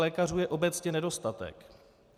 Lékařů je obecně nedostatek.